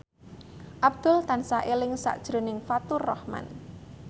Abdul tansah eling sakjroning Faturrahman